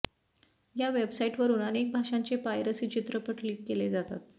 या वेबसाइटवरून अनेक भाषांचे पायरसी चित्रपट लीक केले जातात